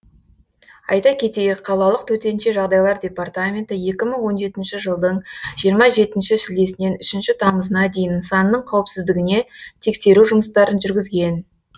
айта кетейік қалалық төтенше жағдайлар департаменті екі мың он жетінші жылдың жиырма жетінші шілдесінен үшінші тамызына дейін нысанның қауіпсіздігіне тексеру жұмыстарын жүргізген